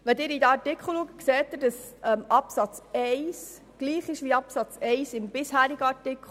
Absatz 1 lautet ähnlich wie Absatz 1 im bisherigen Gesetz.